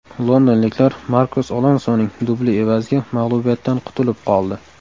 Londonliklar Markos Alonsoning dubli evaziga mag‘lubiyatdan qutulib qoldi.